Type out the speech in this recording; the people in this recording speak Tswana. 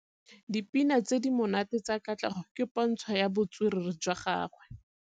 Dipina tse di monate tsa Katlego ke pôntshô ya botswerere jwa gagwe.